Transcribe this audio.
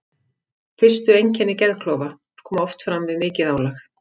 Fyrstu einkenni geðklofa koma oft fram við mikið álag.